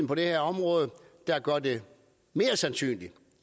på det her område der gør det mere sandsynligt